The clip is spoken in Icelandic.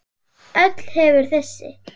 Öll hefur þessi